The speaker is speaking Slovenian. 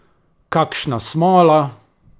Kakšna smola!